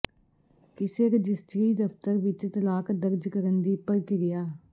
ਕਿਸੇ ਰਜਿਸਟਰੀ ਦਫਤਰ ਵਿੱਚ ਤਲਾਕ ਦਰਜ ਕਰਨ ਦੀ ਪ੍ਰਕਿਰਿਆ